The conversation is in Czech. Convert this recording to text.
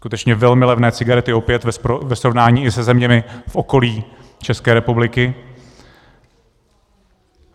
Skutečně velmi levné cigarety opět ve srovnání i se zeměmi v okolí České republiky.